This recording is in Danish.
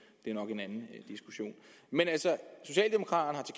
det er nok en anden diskussion men altså socialdemokraternes